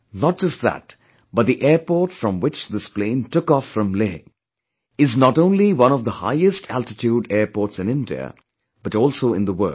Not just that, but the airport from which this plane took off from Leh is not only one of the highest altitude airports in India but also in the world